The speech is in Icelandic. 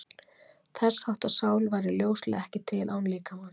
Þess háttar sál væri ljóslega ekki til án líkamans.